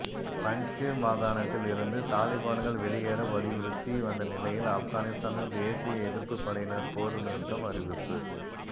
பஞ்ச்ஷிர் மாகாணத்தில் இருந்து தாலிபான்கள் வெளியேற வலியுறுத்தி வந்த நிலையில் ஆப்கானிஸ்தானில் தேசிய எதிர்ப்புப் படையினர் போர் நிறுத்தம் அறிவிப்பு